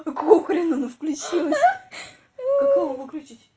какого хрена она включилась ха-ха как его выключить